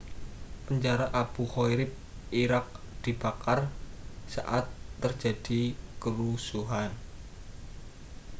penjara abu ghraib irak dibakar saat terjadi kerusuhan